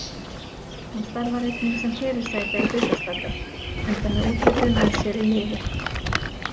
Hún starfar einnig sem fyrirsæta í hlutastarfi enda með útlitið með sér í liði.